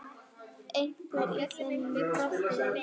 Einhver í þinni deild?